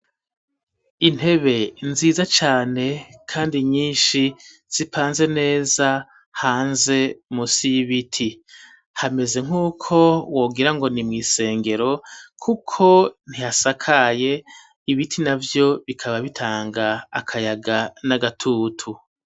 Intebe nziza cane kandi nyinshi zipanze neza hanze musi y'ibiti hameze nk'uko wogira ngo ni mw'isengero kuko ntihasakaye ibiti nabyo bikaba bitanga akayaga n'agatutu.